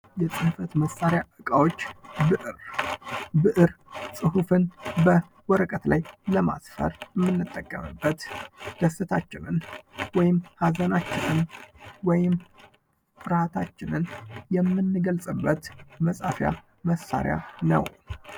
የጽሕፈት መሳሪያ እቃዎች ብዕር ፅሑፍን በወረቀት ላይ ለማስፈር እምንጠቀምበት ደስታችንን ወይም ሀዘናችንን ወይም ፍርሐታችንን የምንገልፅበት መጻፊያ መሳሪያ ነው።